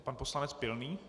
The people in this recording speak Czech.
Pan poslanec Pilný.